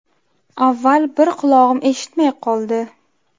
Avval bir qulog‘im eshitmay qoldi.